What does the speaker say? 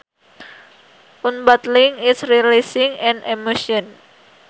Unbottling is releasing an emotion